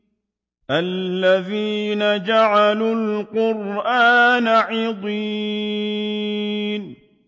الَّذِينَ جَعَلُوا الْقُرْآنَ عِضِينَ